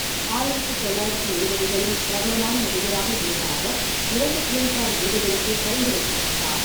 ஆயிரத்து தொள்ளாயிரத்து எழுபதுகளில் பிரபலமான நடிகராக இருந்த அவர், இரண்டு ஃபிலிம்ஃபேர் விருதுகளுக்குப் பரிந்துரைக்கப்பட்டார்.